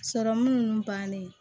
Sɔrɔmu ninnu bannen